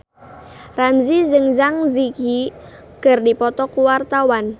Ramzy jeung Zang Zi Yi keur dipoto ku wartawan